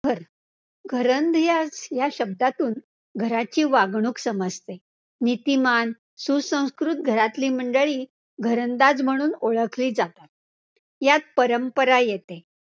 घर, घरंदाज या शब्दातून घराची वागणूक समजते. नीतिमान, सुसंस्कृत घरातली मंडळी घरंदाज म्हणून ओळखली जातात, यात परंपरा येते.